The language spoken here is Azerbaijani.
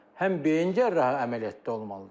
Həm beyin cərrahi əməliyyatda olmalıdır,